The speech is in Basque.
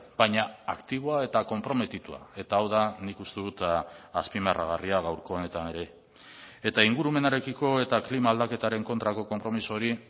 baina aktiboa eta konprometitua eta hau da nik uste dut azpimarragarria gaurko honetan ere eta ingurumenarekiko eta klima aldaketaren kontrako konpromiso hori